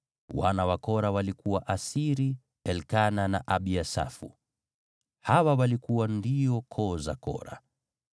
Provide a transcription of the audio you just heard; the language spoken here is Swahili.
Wana wa Kora walikuwa Asiri, Elikana na Abiasafu. Hawa walikuwa ndio koo za Kora.